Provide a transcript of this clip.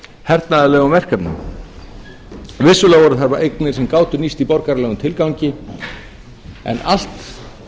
hernaðarlegum verkefnum vissulega voru það eignir sem gátu nýst í borgaralegum tilgangi en því